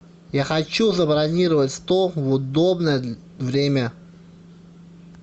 я хочу забронировать стол в удобное время